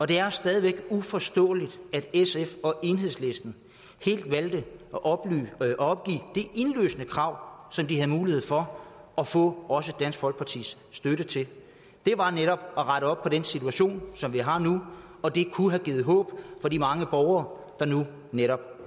det er stadig væk uforståeligt at sf og enhedslisten helt valgte at opgive det indlysende krav som de havde mulighed for at få også dansk folkepartis støtte til det var netop at rette op på den situation som vi har nu og det kunne have givet håb for de mange borgere der nu netop